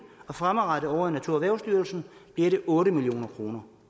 og fremadrettet ovre i naturerhvervsstyrelsen otte million kroner